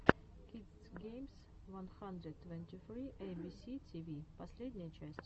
кидс геймс ван хандрэд твэнти сри эйбиси тиви последняя часть